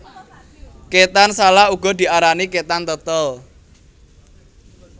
Ketan salak uga diarani ketan tetel